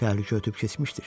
Təhlükə ötüb keçmişdir.